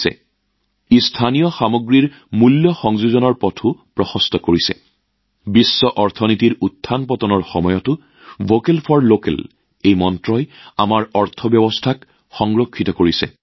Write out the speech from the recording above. ইয়াৰ ফলত স্থানীয় সামগ্ৰীসমূহত মূল্য সংযোজনৰ পথো মুকলি হয় আৰু যদি কেতিয়াবা বিশ্ব অৰ্থনীতিত উত্থানপতন ঘটে তেন্তে ভোকেল ফৰ লোকেলৰ মন্ত্ৰই আমাৰ অৰ্থনীতিকো সুৰক্ষা প্ৰদান কৰে